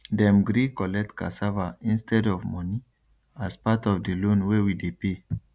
dem gree collect cassava instead of money as part of the loan wey we dey pay